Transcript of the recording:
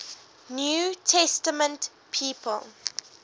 new testament people